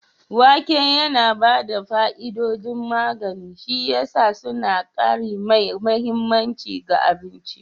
Wake yana ba da fa'idodin magani, shi ya sa suna ƙari mai mahimmanci ga abinci